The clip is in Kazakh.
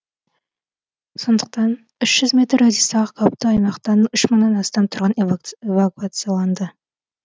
сондықтан үш жүз метр радиустағы қауіпті аймақтан үш мыңнан астам тұрғын эвакуацияланды